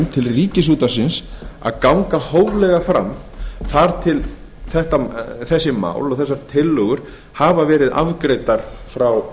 til ríkisútvarpsins að ganga hóflega fram þar til þessi mál og þessar tillögur hafa verið afgreiddar frá